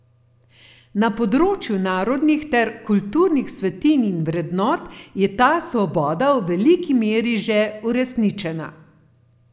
Na področju narodnih ter kulturnih svetinj in vrednot je ta svoboda v veliki meri že uresničena.